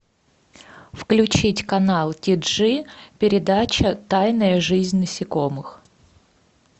включить канал ти джи передача тайная жизнь насекомых